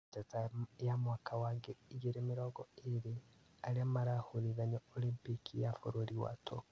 Njata y ma mwaka wa ngiri igĩrĩ mĩrongo ĩrĩ, arĩa marahũrithanio Olimpiki ya bũrũri wa Tokyo